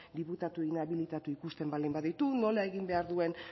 diputatu inabilitatu ikusten baldin baditu nola egin behar duen